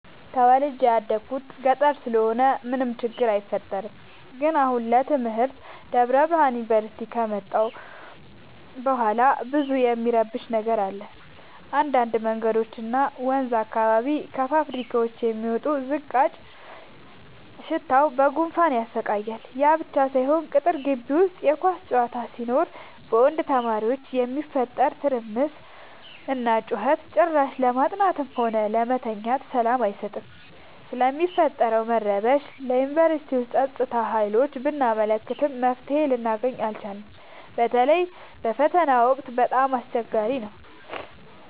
ተወልጄ የደኩት ገጠር ስለሆነ ምንም ችግር አይፈጠርም። ግን አሁን ለትምህርት ደብረብርሃን ዮንቨርሲቲ ከመጣሁ በኋላ ብዙ እሚረብሽ ነገር አለ እንዳድ መንገዶች እና ወንዝ አካባቢ ከፋብካዎች የሚወጣው ዝቃጭ ሽታው በጉንፋን ያሰቃያል። ያብቻ ሳይሆን ቅጥር ጊቢ ውስጥ የኳስ ጨዋታ ሲኖር በወንድ ተማሪዎች የሚፈጠረው ትርምስና ጩኸት ጭራሽ ለማጥናትም ሆነ ለመተኛት ሰላም አይሰጥም። ስለሚፈጠረው መረበሽ ለዮንቨርስቲው ፀጥታ ሀይሎች ብናመለክትም መፍትሔ ልናገኝ አልቻልም። በተለይ በፈተና ወቅት በጣም አስቸገሪ ነው።